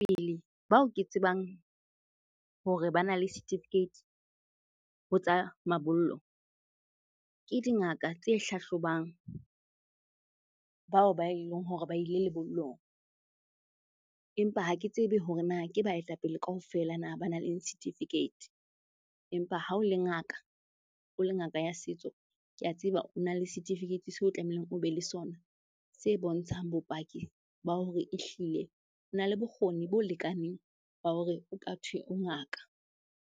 Bao ke tsebang hore bana le certificate ho tsa mabollo, ke dingaka tse hlahlobang bao ba eleng hore ba ile lebollong. Empa ha ke tsebe hore na ke baetapele kaofela na ba nang le certificate. Empa ha o le ngaka, o le ngaka ya setso, ke a tseba o na le certificate so tlamehileng o be le sona. Se bontshang bopaki ba hore ehlile o na le bokgoni bo lekaneng ba hore ho ka thwe o ngaka.